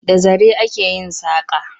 Da zare ake yin saƙa.